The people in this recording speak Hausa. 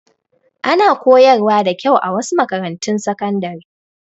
Ana koyar wa da kyau a wasu makarantun sakandare